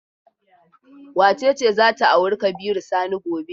Wace ce za ta auri Kabiru Sani gobe?